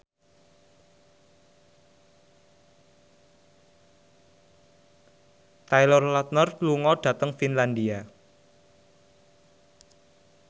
Taylor Lautner lunga dhateng Finlandia